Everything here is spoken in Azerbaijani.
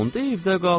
Onda evdə qal.